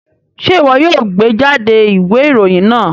Ṣe iwọ yoo gbejade iwe iroyin naa